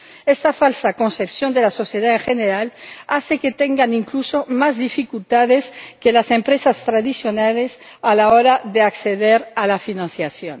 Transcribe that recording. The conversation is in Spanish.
Esta falsa concepción de la sociedad en general hace que tengan incluso más dificultades que las empresas tradicionales a la hora de acceder a la financiación.